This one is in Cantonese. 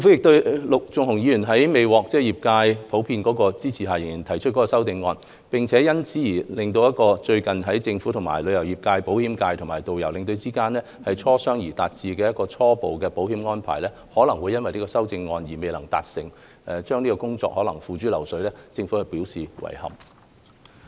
對於陸頌雄議員在未獲業界普遍支持下仍提出修正案，並因此而令最近政府與旅遊業界、保險界及導遊和領隊間經磋商而達致的初步保險安排，可能因修正案而未能達成，工作可能會付諸流水，政府對此表示遺憾。